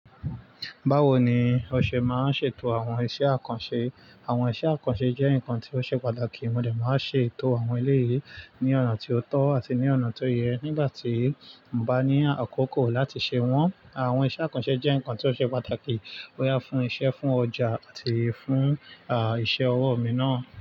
Báwo ni ọ ṣe máa ṣe ètò àwọn iṣẹ́ àkànṣe? Àwọn iṣẹ́ àkànṣe jẹ́ nǹkan tó ṣe pàtàkì. Mo dẹ̀ máa n ṣe ètò àwọn eléyi ní ọ̀nà tí ó tọ́ àti ní ọ̀nà tó yẹ nígbà tí mo bá ní àkókò láti ṣe wọ́n. Àwọn iṣẹ́ àkànṣe jẹ́ nǹkan tó ṣe pàtàkì bóyá fún isẹ́, fún ọjà àti fún, à, iṣẹ́ ọwọ́ mi náà.